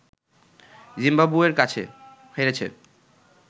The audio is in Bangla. জিম্বাবুয়ের কাছে হেরেছে